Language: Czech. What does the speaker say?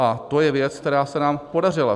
A to je věc, která se nám podařila.